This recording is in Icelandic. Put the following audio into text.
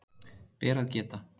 Ber að geta